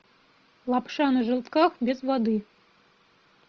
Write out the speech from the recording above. лапша на желтках без воды